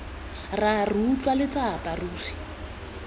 rra re utlwa letsapa ruri